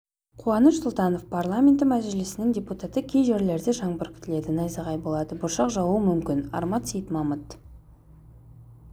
қуаныш сұлтанов парламенті мәжілісінің депутаты кей жерлерде жаңбыр күтіледі найзағай болады бұршақ жаууы мүмкін арман сейітмамыт